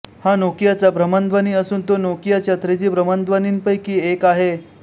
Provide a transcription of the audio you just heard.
हा नोकियाचा भ्रमणध्वनी असून तो नोकियाच्या थ्रीजी भ्रमणध्वनींपैकी एक आहे